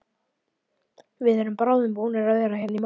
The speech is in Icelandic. Við erum bráðum búnir að vera hérna í mánuð.